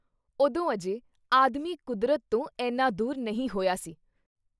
ਉਦੋਂ ਅਜੇ ਆਦਮੀ ਕੁਦਰਤ ਤੋਂ ਐਨਾ ਦੂਰ ਨਹੀਂ ਹੋਈਆਂ ਸੀ I